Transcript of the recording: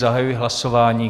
Zahajuji hlasování.